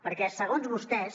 perquè segons vostès